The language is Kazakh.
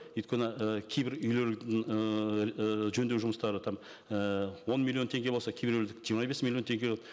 өйткені і кейбір үйлердің ыыы жөндеу жұмыстары там ііі он миллион теңге болса кейбіреулер жиырма бес миллион теңге